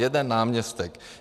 Jeden náměstek.